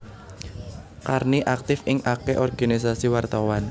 Karni aktif ing akeh organisasi wartawan